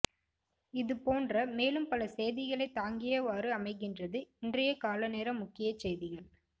இது போன்ற மேலும் பல செய்திகளை தாங்கியவாறு அமைகின்றது இன்றைய காலைநேர முக்கிய செய்திகள்